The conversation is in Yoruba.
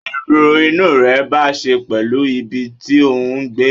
Èrò inú rẹ bá ṣe pèlú ibi tí òhún gbé